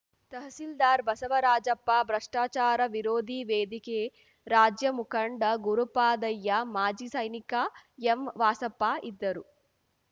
ತಹಸಿಲ್ದಾರ್‌ ಬಸವರಾಜಪ್ಪ ಭ್ರಷ್ಟಾಚಾರ ವಿರೋಧಿ ವೇದಿಕೆ ರಾಜ್ಯ ಮುಖಂಡ ಗುರುಪಾದಯ್ಯ ಮಾಜಿ ಸೈನಿಕ ಎಂ ವಾಸಪ್ಪ ಇದ್ದರು